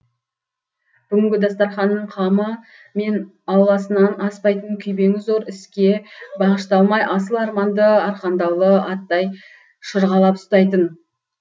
бүгінгі дастарқанның қамы мен ауласынан аспайтын күйбеңі зор іске бағышталмай асыл арманды арқандаулы аттай шырғалап ұстайтын